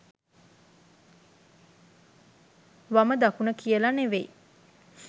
වම දකුණ කියල නෙවෙයි.